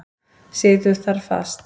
Situr þar fast.